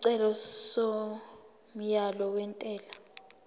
isicelo somyalo wentela